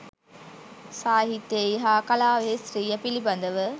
සාහිත්‍යයෙහි හා කලාවෙහි ස්ත්‍රිය පිළිබඳව